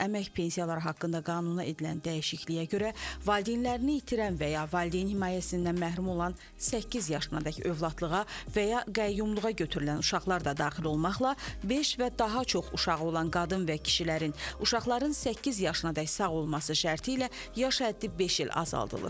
Əmək pensiyaları haqqında qanuna edilən dəyişikliyə görə valideynlərini itirən və ya valideyn himayəsindən məhrum olan səkkiz yaşınadək övladlığa və ya qəyyumluğa götürülən uşaqlar da daxil olmaqla, beş və daha çox uşağı olan qadın və kişilərin uşaqların səkkiz yaşınadək sağ olması şərti ilə yaş həddi beş il azaldılır.